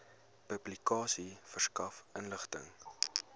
publikasie verskaf inligting